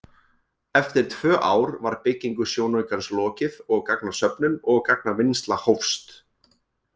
Eftir tvö ár var byggingu sjónaukans lokið og gagnasöfnun og gagnavinnsla hófst.